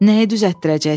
"Nəyi düzəltdirəcəksən?"